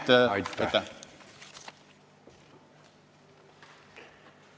Aitäh!